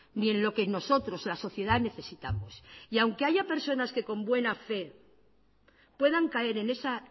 ni en lo que nosotros la sociedad necesitamos y aunque haya personas que con buena fe puedan caer en esa